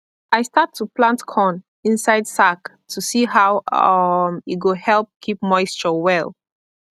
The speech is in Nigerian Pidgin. i start to plant corn inside sack to see how um e go help keep moisture well